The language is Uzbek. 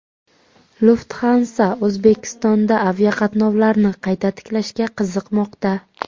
Lufthansa O‘zbekistonda aviaqatnovlarni qayta tiklashga qiziqmoqda.